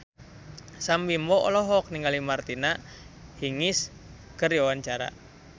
Sam Bimbo olohok ningali Martina Hingis keur diwawancara